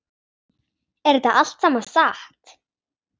Er þetta allt saman satt?